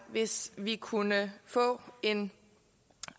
hvis vi kunne få en